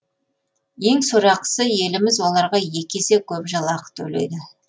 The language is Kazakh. ең сорақысы еліміз оларға екі есе көп жалақы төлейді